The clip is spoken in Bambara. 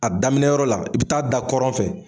A daminɛ yɔrɔ la, i bɛ taa da kɔrɔn fɛ.